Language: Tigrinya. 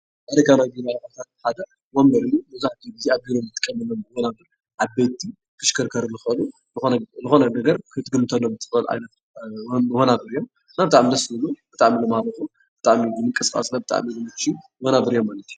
ናይ ገዛን ቢሮ አቑሑ፡- ሜጋባይት ነገር ዝተተሓዘ ክኮን ይክእል እዩ፡፡ ዓበይቲ ተሽከርካሪ ንክኮኑ ዝኮነ ነገር ክትግምተሉ ትክእል እዋናዊ እዩ፡፡ ብጣዕሚ ደስ ዝብል እዩ፡፡ ብጣዕሚ ምንቅስቃስ ለ ብጣዕሚ ደስ ዝብል እዩ፡፡ መናፍር እዮም ማለት እዩ፡፡